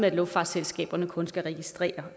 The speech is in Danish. at luftfartsselskaberne kun skal registrere